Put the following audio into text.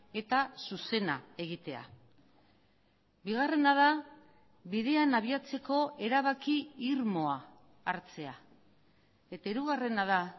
eta zuzena egitea bigarrena da bidean abiatzeko erabaki irmoa hartzea eta hirugarrena da